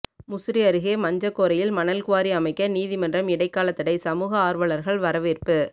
முசிறி அருகே மஞ்சக்கோரையில் மணல் குவாரி அமைக்க நீதிமன்றம் இடைக்கால தடை சமூக ஆர்வலர்கள் வரவேற்பு